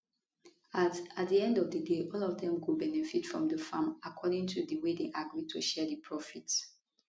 at at di end of di day all of dem go benefit from di farm according to di way dem agree to share di profit